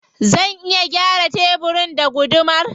Zan iya gyara tebirin da gudumar.